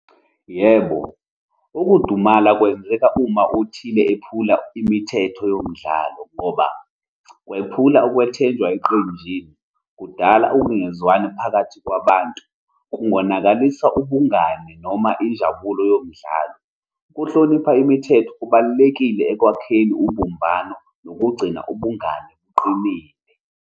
Yebo, ukudumala kwenzeka uma othile ephula imithetho yomdlalo, ngoba kwephula ukwethenjwa eqenjini, kudala ukungezwani phakathi kwabantu, kungonakalisa ubungani noma injabulo yomdlalo. Ukuhlonipha imithetho kubalulekile ekwakheni ubumbano nokugcina ubungani buqinile.